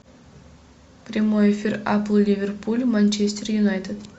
прямой эфир апл ливерпуль манчестер юнайтед